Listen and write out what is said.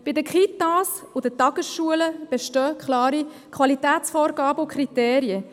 Bei den Kitas und den Tagesschulen bestehen klare Qualitätsvorgaben und Kriterien.